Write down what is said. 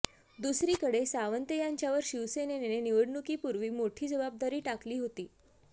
दुसरीकडे सावंत यांच्यावर शिवसेनेने निवडणुकीपूर्वी मोठी जबाबदारी टाकली होती